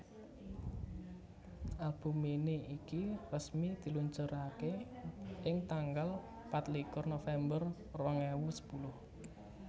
Album mini iki resmi diluncuraké ing tanggal patlikur November rong ewu sepuluh